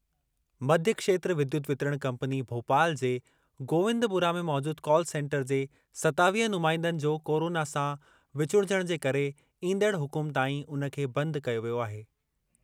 मध्यक्षेत्र विद्युत वितरण कंपनी भोपाल जे गोविंदपुरा में मौजूदु कॉल सेंटर जे सतावीह नुमाईंदनि जो कोरोना सां विचुड़जणु जे करे ईंदड़ हुकुम ताईं उन खे बंदि कयो वियो आहे।